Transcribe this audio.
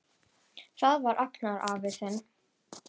Það var Agnar afi þinn.